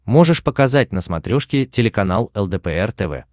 можешь показать на смотрешке телеканал лдпр тв